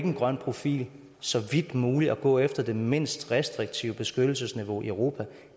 en grøn profil så vidt muligt at gå efter det mindst restriktive beskyttelsesniveau i europa